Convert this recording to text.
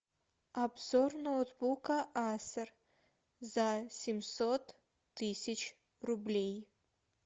обзор ноутбука асер за семьсот тысяч рублей